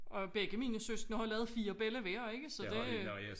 Og begge mine søskende har lavet fire bella hver ikke så det